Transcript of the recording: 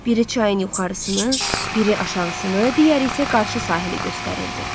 Biri çayın yuxarısını, biri aşağısını, digəri isə qarşı sahili göstərirdi.